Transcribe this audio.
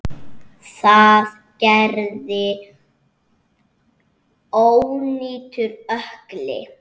Það gerði ónýtur ökkli.